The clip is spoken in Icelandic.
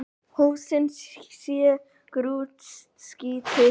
Húsin séu grútskítug